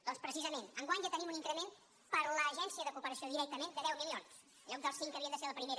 doncs precisament enguany ja tenim un increment per a l’agència de cooperació directament de deu milions en lloc dels cinc que havien de ser a la primera